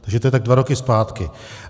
Takže to je tak dva roky zpátky.